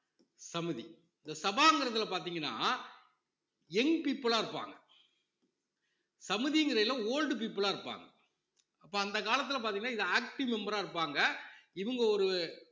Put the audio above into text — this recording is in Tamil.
சமிதி இந்த சபாங்கிறதுல பார்த்தீங்கன்னா young people ஆ இருப்பாங்க சமுதிங்கிறதிலே old people ஆ இருப்பாங்க அப்போ அந்த காலத்திலே பார்த்தீங்கன்னா இது active member ஆ இருப்பாங்க இவங்க ஒரு